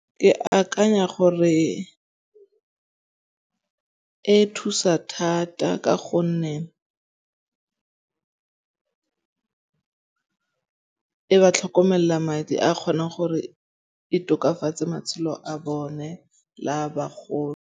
Ke akanya gore e thusa thata ka gonne e ba tlhokomella madi a kgonang gore e tokafatse matshelo a bone la